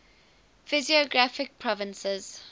physiographic provinces